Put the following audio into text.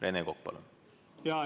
Rene Kokk, palun!